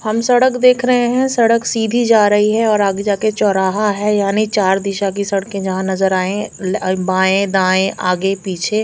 हम सडक देख रहे हैं सड़क सीधी जा रही हैं और आगे जा के चौराहा हैं यानि चार दिशा की सड़के जहाँ नजर आए बाए दाए आगे पीछे --